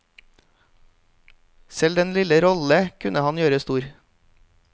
Selv den lille rolle kunne han gjøre stor.